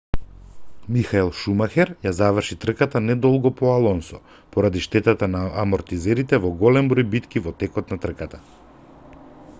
михаел шумахер ја заврши трката не долго по алонсо поради штетата на амортизерите во голем број битки во текот на трката